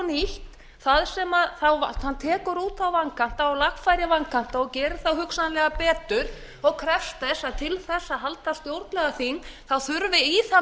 nýtt það sem hann tekur út þá vankanta og lagfærir vankanta og gerir þá hugsanlega betur og krefst þess að til þess að halda stjórnlagaþing þurfi í það